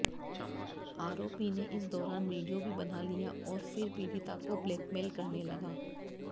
आरोपी ने इस दौरान वीडियो भी बना लिया और फिर पीड़िता को ब्लैकमेल करने लगा